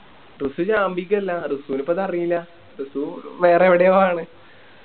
റസു ചാമ്പിക്കല്ല റസൂനിപ്പത് അറീല്ല റസു വേറെവിടെയോ ആണ്